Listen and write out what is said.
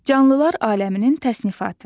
Canlılar aləminin təsnifatı.